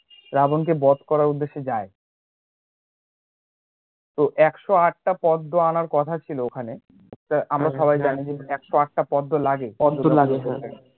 রাবণ কে বধ করার উদ্দেশে যায় একশ আটটা পদ্মো আনার কথা ছিল ওখানে আমরা সবাই জানি একশ’আটটা পদ্মো লাগে